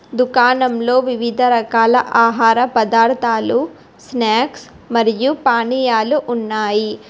దుకాణంలో వివిధ రకాల ఆహార పదార్థాలు స్నాక్స్ మరియు పానీయాలు ఉన్నాయి.